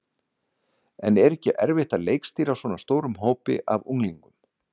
En er ekki erfitt að leikstýra svona stórum hópi af unglingum?